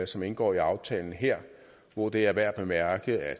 som indgår i aftalen her hvor det er værd at bemærke at